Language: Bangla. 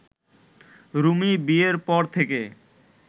রুমি বিয়ের পর থেকে